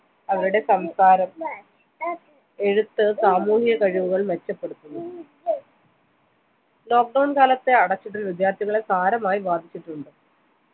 അവരുടെ സംസാരം എഴുത്ത് സാമൂഹ്യ കഴിവുകൾ മെച്ചപ്പെടുത്തുന്നു lockdown കാലത്തെ അടച്ചിടൽ വിദ്യാർത്ഥികളെ സാരമായി ബാധിച്ചിട്ടുണ്ട്